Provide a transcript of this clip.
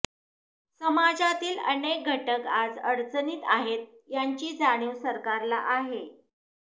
समाजातील अनेक घटक आज अडचणीत आहेत याची जाणीव सरकारला आहे